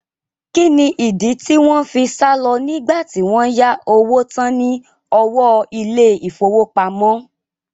Kí ni ìdí tí wọn fi sálọ nígbà tí wọ́n yá owó tán ní ọwọ́ ilé ìfowópamọ́?